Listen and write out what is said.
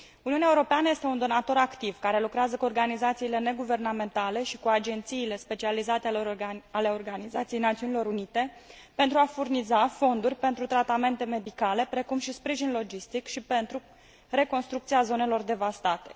Uniunea Europeană este un donator activ care lucrează cu organizațiile neguvernamentale și cu agențiile specializate ale Organizației Națiunilor Unite pentru a furniza fonduri pentru tratamente medicale, precum și sprijin logistic și pentru reconstrucția zonelor devastate.